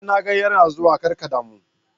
A'a na ga yana zuwa, kar ka damu.